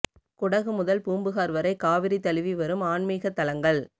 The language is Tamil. குடகு முதல் பூம்புகார் வரை காவிரி தழுவி வரும் ஆன்மிகத் தலங்கள்